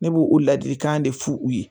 Ne b'o ladilikan de f'u ye